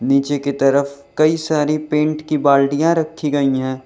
नीचे की तरफ कई सारी पेंट की बाल्टियां रखी गई हैं।